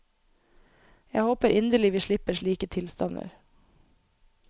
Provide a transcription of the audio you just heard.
Jeg håper inderlig vi slipper slike tilstander.